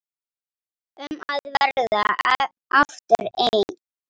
Um að verða aftur einn.